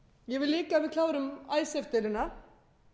ég vil líka að við klárum icesave deiluna